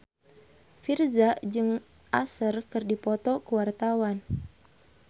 Virzha jeung Usher keur dipoto ku wartawan